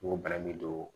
N ko bana min do